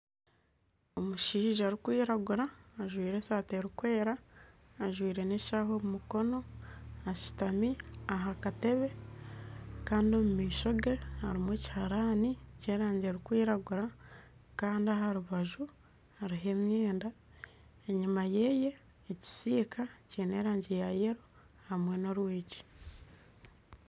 Omushaija orikwiragura ajwire eshati erikwera ajwire n'eshaaha omu mukona, ashutami aha katebe, kandi omu maisho ge harimu ekiharani ky'erangi erikwiragura kandi aha rubaju hariho emyenda enyima ye hariho ekisiika kiine erangi ya yero hamwe n'orwigi